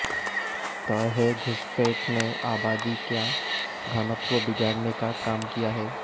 तय है घुसपैठ ने आबादी का घनत्व बिगाड़ने का काम किया है